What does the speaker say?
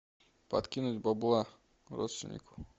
подкинуть бабла родственнику